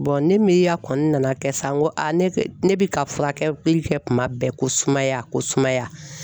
ne miiriya kɔni nana kɛ sa n ko ne bɛ ka furakɛli kɛ kuma bɛɛ ko sumaya ko sumaya